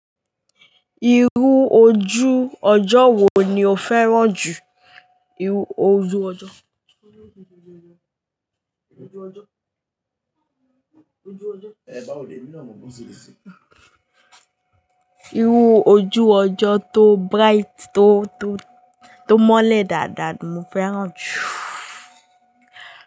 Iru ojú ọjọ́ wo ni o fẹ́ràn jù? Iru ojú ọjọ́ tó bright tó mọ́lẹ̀ dáadáa ni mo fẹ́ràn jù.